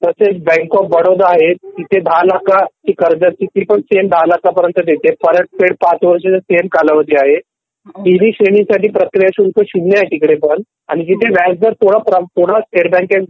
तसेच bank of Baroda आहे तिथे कर्जाची तिथे १० लखाच कर्जाची तिथे पण सेम १० लखाच देते परत fed ५ वर्षाची सेम कालावधी आहे . तिन्ही श्रेणी साठी पण प्रक्रिया शुल्क शून्य आहे तिकडे पण आणि इथे व्याजदर